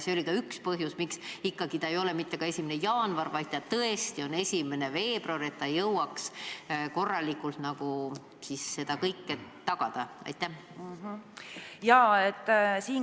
See, et jõuaks korralikult seda kõike tagada, oli ka üks põhjusi, miks ikkagi ei ole siin kirjas mitte 1. jaanuar, vaid on 1. veebruar.